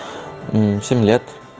семь лет